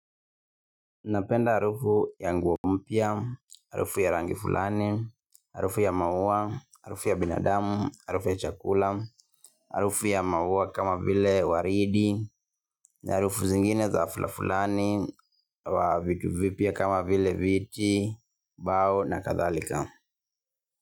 Napenda harufu ya nguo mpya, harufu ya rangi fulani, harufu ya maua, harufu ya binadamu, harufu ya chakula, harufu ya maua kama vile waridi, na harufu zingine za kila aina, za vitu vipya kama vile viti, mbao na kadhalika.